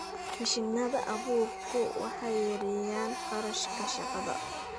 Mashiinnada abuurku waxay yareeyaan kharashka shaqada.